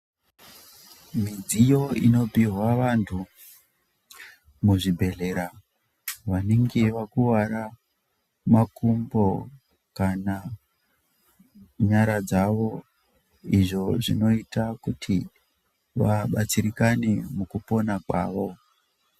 Midziyo inopihwa vantu muzvibhedlera vanenge vakuvara makumbo kana , nyara dzavo, izvo zvinoita kuti vabatsirikane mukupona kwavo.